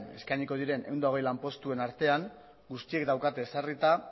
eskainiko diren ehun eta hogei lanpostuen artean guztiek daukate ezarrita